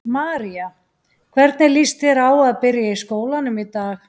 María: Hvernig líst þér á að byrja í skólanum í dag?